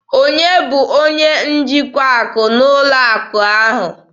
Onye bụ onye njikwa akụ na ụlọ akụ ahụ?